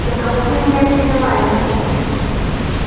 за кого вы меня принимаете